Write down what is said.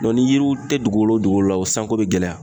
ni yiriw tɛ dugu o dugu la, o sanko be gɛlɛya.